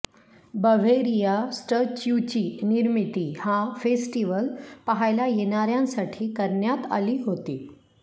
Bavaria स्टच्युची निर्मिती हा फेस्टिव्हल पहायला येणाऱ्यांसाठी करण्यात आली होती